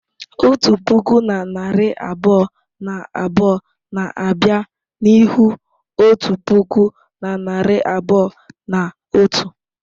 Otu puku na narị abụọ na abụọ na abịa n'ihu otu puku na narị abụọ na otu.